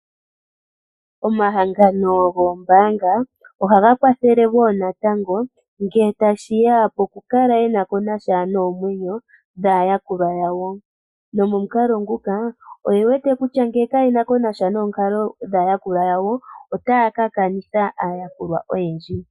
Omahangano goombaanga, oha ga kwathele woo natango ngele tashiya po ku kala ye na ko nasha noomwenyo dhaayakulwa yawo, nomomukala guka, oye wete kutya ngele ka yenakonasha noonkalo dhaa yakulwa yawo, ota ya ka kanitha aayakulwa oyendji.